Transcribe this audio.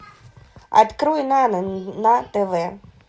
открой нано на тв